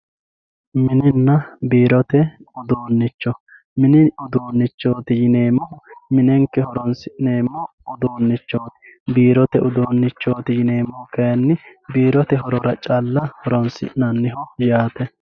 Mininna biirote uduunicho mini uduunichooti yineemohu minenike horonsin'eemo uduunichoti biirote uduunichoti yineemohu kayinni biirote horora chala horonisin'aniho yaate